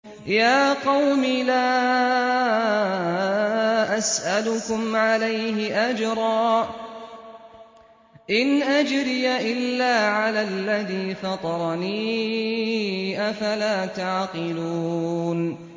يَا قَوْمِ لَا أَسْأَلُكُمْ عَلَيْهِ أَجْرًا ۖ إِنْ أَجْرِيَ إِلَّا عَلَى الَّذِي فَطَرَنِي ۚ أَفَلَا تَعْقِلُونَ